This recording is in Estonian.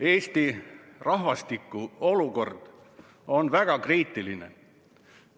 Eesti rahvastiku olukord on väga kriitiline.